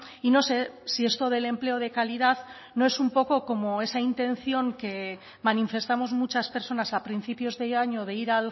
y no sé si esto del empleo de calidad no es un poco como esa intención que manifestamos muchas personas a principios de año de ir